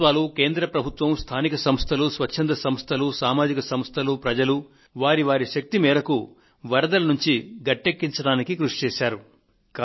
రాష్ట్ర ప్రభుత్వాలు కేంద్ర ప్రభుత్వం స్థానిక సంస్థలు స్వచ్ఛంద సంస్థలు సామాజిక సంస్థలు ప్రజలు వారి వారి శక్తి మేరకు వరదల నుండి ప్రజల నుంచి గట్టెక్కించడానికి కృషి చేశారు